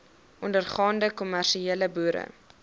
ondergaande kommersiële boere